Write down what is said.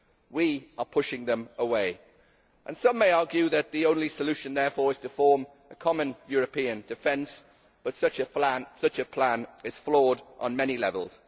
We are pushing them away and some may argue that the only solution therefore is to form a common European defence, but such a plan is flawed on many levels.